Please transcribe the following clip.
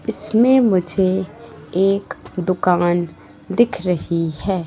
इसमें मुझे एक दुकान दिख रही है।